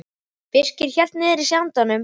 Birkir hélt niðri í sér andanum.